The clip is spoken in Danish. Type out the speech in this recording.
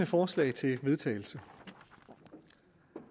forslag til vedtagelse